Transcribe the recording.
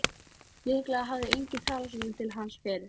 Mikaelína, læstu útidyrunum.